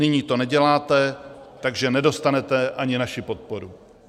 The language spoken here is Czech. Nyní to neděláte, takže nedostanete ani naši podporu.